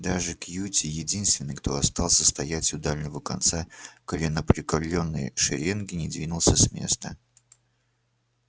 даже кьюти единственный кто остался стоять у дальнего конца коленопреклонённой шеренги не двинулся с места